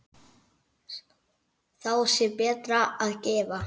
Þá sé betra að gefa.